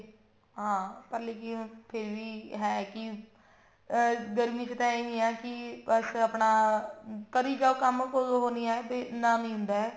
ਹਾਂ ਪਰ ਫੇਰ ਵੀ ਹੈ ਕਿ ਅਮ ਗਰਮੀ ਚ ਤਾਂ ਇਹੀ ਹੈ ਕੀ ਬਸ ਆਪਣਾ ਕਰੀ ਜਾਓ ਕੰਮ ਕੋਈ ਉਹ ਨਹੀਂ ਹੈ ਇੰਨਾ ਨੀ ਹੁੰਦਾ ਹੈ